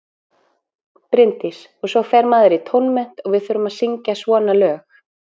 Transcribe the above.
Bryndís: Og svo fer maður í tónmennt og við þurfum að syngja svona lög.